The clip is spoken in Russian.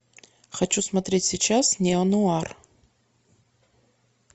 хочу смотреть сейчас неонуар